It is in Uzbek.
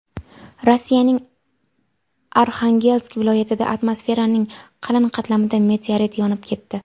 Rossiyaning Arxangelsk viloyatida atmosferaning qalin qatlamida meteorit yonib ketdi.